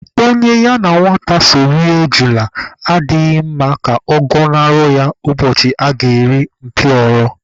Onye ya na nwata so rie ejula adịghị mma ka ọ gọnahụ ya ụbọchị a ga-eri mpịọrọ.